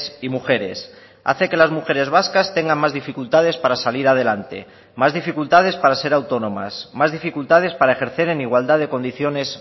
y mujeres hace que las mujeres vascas tengan más dificultades para salir adelante más dificultades para ser autónomas más dificultades para ejercer en igualdad de condiciones